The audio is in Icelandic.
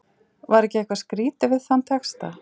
Var ekki eitthvað skrýtið við þann texta?